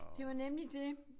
Det var nemlig det